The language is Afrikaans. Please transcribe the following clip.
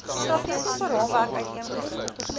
strategiese raamwerk uiteengesit